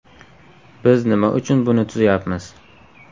Biz nima uchun buni tuzyapmiz?